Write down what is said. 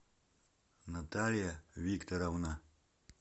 наталья викторовна